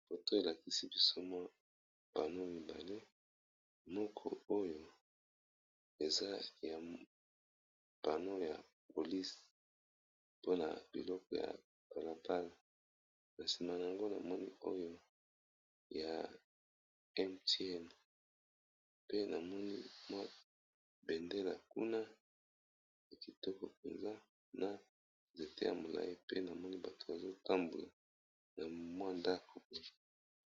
Photo elakisi biso mwa pano mibale moko oyo eza ya pano ya police pona biloko ya kalabala na sima na yango namoni oyo ya MTN pe namoni mwa bendela kuna ya kitoko penza na nzete ya molai pe namoni bato bazotambola na mwa ndako.